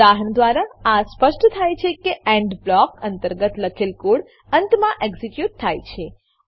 ઉદાહરણ દ્વારા આ સ્પષ્ટ થાય છે કે એન્ડ બ્લોક અંતર્ગત લખેલ કોડ અંતમાં એક્ઝીક્યુટ થાય છે